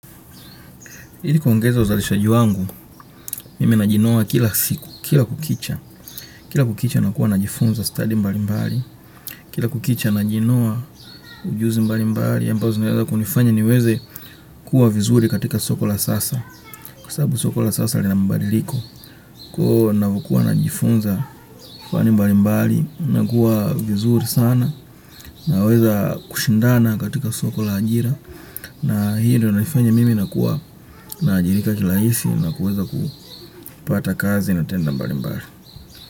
Ili kuongeza uzalishaji wangu, mimi najinoa kila siku, kila kukicha, kila kukicha nakuwa najifunza study mbalimbali, kila kukicha najinoa ujuzi mbalimbali, ambazo zinaweza kunifanya niweze kuwa vizuri katika soko la sasa, kwa sababu soko la sasa lina mbadiliko, kuo navokuwa najifunza, kufani mbalimbali, nakuwa vizuri sana, naweza kushindana katika soko la ajira, na hii ndo naifanya mimi na kuwa na ajirika rahisi na kuweza kupata kazi na tenda mbalimbali.